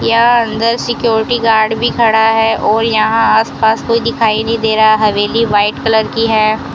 यहाँ अंदर security guard भी खड़ा है और यहां आस पास कोई दिखाई नहीं दे रहा हवेली व्हाइट कलर की है।